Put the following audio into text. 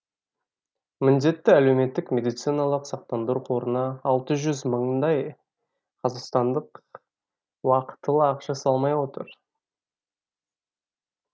міндетті әлеуметтік медициналық сақтандару қорына алты жүз мыңдай қазақстандық уақытылы ақша салмай отыр